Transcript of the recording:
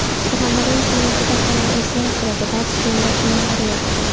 Surxondaryo viloyatida havo o‘zgarib turadi, ba’zi joylarda yomg‘ir yog‘adi.